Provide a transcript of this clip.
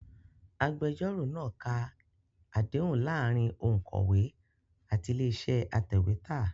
Agbẹjọ́rò náa ka àdéhùn láàárín òǹkọ̀wé àti ilé-iṣẹ́ atẹ̀wétà.